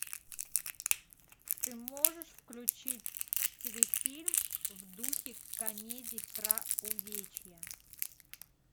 ты можешь включить телефильм в духе комедий про увечья